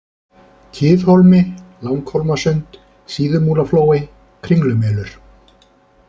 Kiðhólmi, Langhólmasund, Síðumúlaflói, Kringlumelur